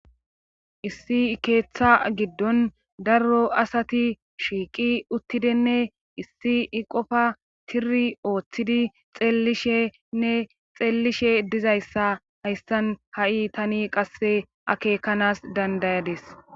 Issi ikeeththa giddon darro asati shiiqi uttidenne issi i qofa tiri ooththidi xeellishenne xeellishe dizayssa hayssan ha'i tani qasse akekanas dandayades